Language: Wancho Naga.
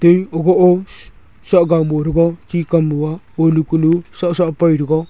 ee ig ow shah ga mo thaga chekam moa oile kunu shah shah pai thaga.